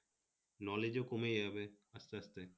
knowledge ও কমে যাবে আস্তে আস্তে